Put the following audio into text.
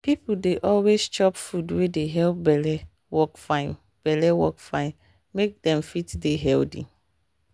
people dey always chop food wey dey help belle work fine belle work fine make dem fit dey healthy.